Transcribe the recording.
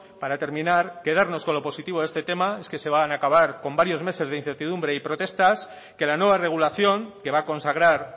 para terminar quedarnos con lo positivo de este tema es que se van acabar con varios meses de incertidumbre y protestas que la nueva regulación que va a consagrar